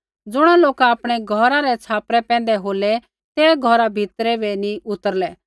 ज़ुणा लोका आपणै घौरा रै छ़ापरा पैंधै होलै ते घौरा भीतरा बै नी उतरलै